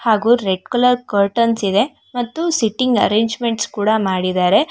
ಹಾಗೂ red colour curtains ಇದೆ ಮತ್ತು ಸಿಟ್ಟಿಂಗ್ ಅರೇಂಜ್ಮೆಂಟ್ಸ್ ಕೂಡ ಮಾಡಿದಾರೆ.